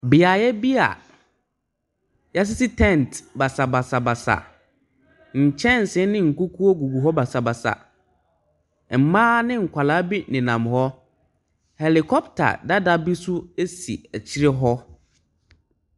Beaeɛ bi a wɔasisi tent basabasabasa. Nkyɛnse ne nkukuo gugu hɔ basabasa. Mmaa ne nkwadaa bi nenam hɔ. Helicpter dada bi nso si akyire hɔ.